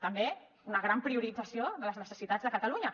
també una gran priorització de les necessitats de catalunya